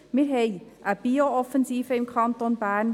Wir haben eine Biooffensive im Kanton Bern.